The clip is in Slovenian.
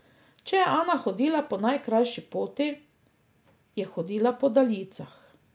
Če je Ana hodila po najkrajši poti, je hodila po daljicah.